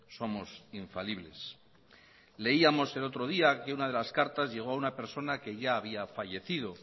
somos infalibles leíamos el otro día que una de las cartas llegó a una persona que ya había fallecido